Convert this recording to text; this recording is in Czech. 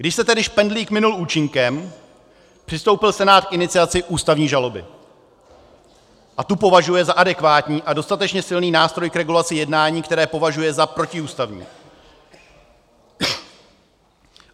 Když se tedy špendlík minul účinkem, přistoupil Senát k iniciaci ústavní žaloby a tu považuje za adekvátní a dostatečně silný nástroj k regulaci jednání, které považuje za protiústavní.